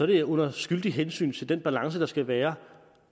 det under skyldigt hensyn til den balance der skal være